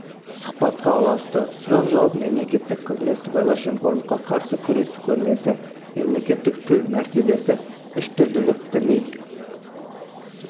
сұхбатқа ұласты сұрақ-жауап мемлекеттік қызмет сыбайлас жемқорлыққа қарсы күрес көрмесі мемлекеттік тіл мәртебесі үштілділік діни